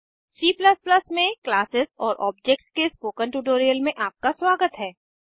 C में classes और objects के स्पोकन ट्यूटोरियल में आपका स्वागत है